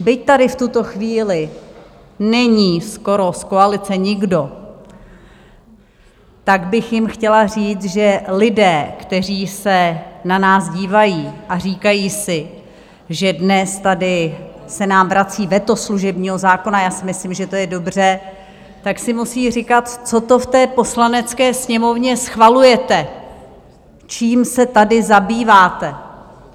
Byť tady v tuto chvíli není skoro z koalice nikdo, tak bych jim chtěla říct, že lidé, kteří se na nás dívají a říkají si, že dnes tady se nám vrací veto služebního zákona - já si myslím, že to je dobře - tak si musí říkat: Co to v té Poslanecké sněmovně schvalujete, čím se tady zabýváte?